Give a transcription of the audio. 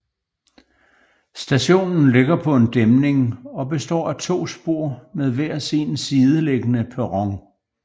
Stationen ligger på en dæmning og består af to spor med hver sin sideliggende perron